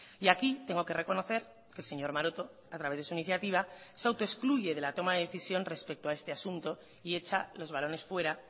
y aquí tengo que reconocer que el señor maroto a través de su iniciativa se autoexcluye de la toma de decisión respecto a este asunto y hecha los balones fuera